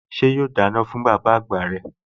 Ṣé yóò dáná fún bàbá àgbà rẹ̀?